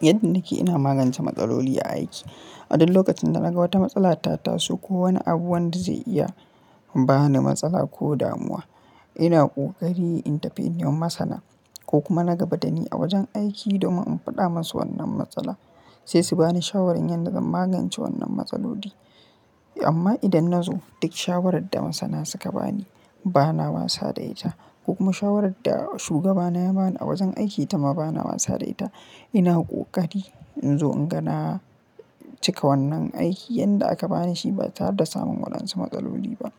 Yadda nake ina magance matsaloli a aiki. A duk lokacin da naga wata matsala ta tasu ko wani abu wanda zai iya ba ni matsala ko damuwa, ina ƙoƙari in tafi in yi wa masana ko kuma na gabatar ni a wajen aiki domin in faɗa masu wannan matsala, sai su ba ni shawarar yadda zan magance wannan matsaloli. Amma idan na zo duk shawarar da masana suka ba ni, ba na bani sadaita, ko kuma shawarar da shugabana ya ba ni a wajen aiki ta ma ba na bani sadaita, ina ƙoƙari in zo in ga cika wannan aiki yadda aka ba ni shi ba tare da samun waɗansu matsaloli ba.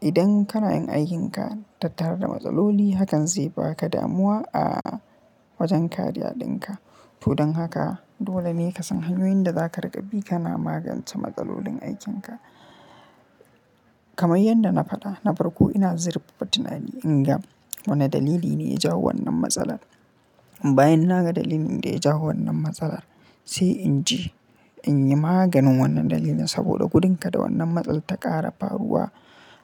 Idan kana yin aikinka tattare da matsaloli, hakan zai ba ka damuwa a wajen kariya ɗinka. To dan haka, dole ne ka san hanyoyin da za ka riƙa bi kana magance matsalolin aikin ka. Kamai yadda na faɗa, na farko ina zirfa tunani in ga wane dalili ne ya jawo wannan matsalar. Bayan na ga dalilin da ya jawo wannan matsalar, sai in je in yi maganin wannan dalilin saboda gudun kada wannan matsalar ta ƙara faruwa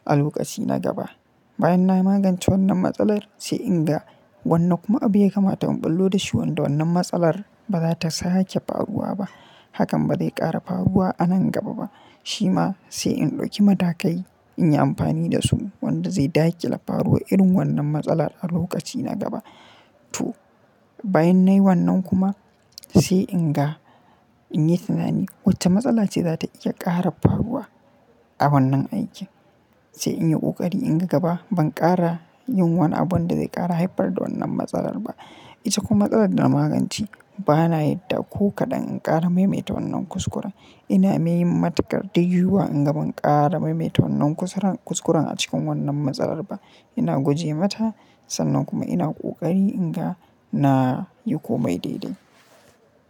a lokaci na gaba. Bayan na yi magance wannan matsalar, sai in ga wannan kuma abu ya kamata in ɓullo da shi wanda wannan matsalar ba za ta sake faruwa ba. Hakan ba zai ƙara faruwa a nan gaba ba. Shi ma sai in ɗauki matakai in yi amfani da su wanda zai dakile faruwar irin wannan matsalar a lokaci na gaba to. Bayan na yi wannan kuma, sai in ga in yi tunani wacce matsala ce za ta iya ƙara faruwa a wannan aikin. Sai in yi ƙoƙari in ga gaba ban ƙara yin wani abu wanda zai ƙara haifar da wannan matsalar ba. Ita kuma matsalar da na magance ba na yadda ko kaɗan in ƙara maimaita wannan kuskure. Ina mai matukar dayiwuwa in ga ban ƙara maimaita wannan kuskuren a cikin wannan matsalar ba. Ina guje mata, sannan kuma ina ƙoƙari in ga na yi komai daidai.